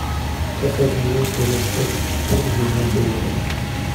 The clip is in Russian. как обменять казахстанский тенге на доллары